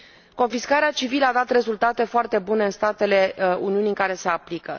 Confiscarea civilă a dat rezultate foarte bune în statele Uniunii în care se aplică.